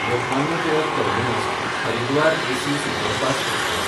Lokmanya Tilak टर्मिनस–हरिद्वार AC superfast express